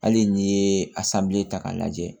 Hali n'i ye a ta k'a lajɛ